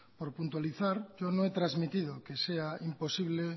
por puntualizar yo no he transmitido que sea imposible